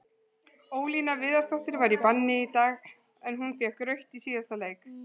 Ólína Viðarsdóttir var í banni í dag, en hún fékk rautt í síðasta leik.